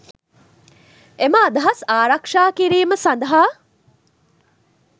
එම අදහස් ආරක්‍ෂා කිරීම සඳහා